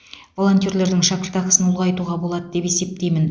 волонтерлердің шәкіртақысын ұлғайтуға болады деп есептеймін